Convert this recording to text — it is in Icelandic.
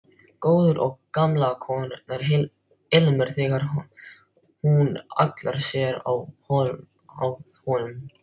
Góður og gamalkunnur ilmur þegar hún hallar sér að honum.